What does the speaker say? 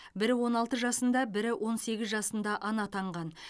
бірі он алты жасында бірі он сегіз жасында ана атанған